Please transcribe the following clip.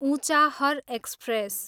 Unchahar express